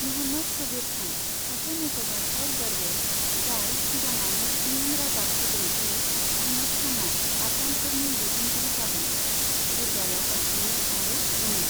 म'हम्मद साबिर खान, सासे मुंख'जाथाव दरवेश, जाय सिगाङावनो इयुन रादाब होदों दि आहमद खानआ आफगानफोरनि दैदेनगिरि जागोन, जिरगायाव गाखोयो आरो बुङो।